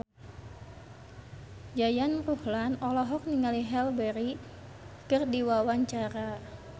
Yayan Ruhlan olohok ningali Halle Berry keur diwawancara